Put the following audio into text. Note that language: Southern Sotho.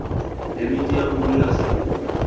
phemiti ya bodulo ya saruri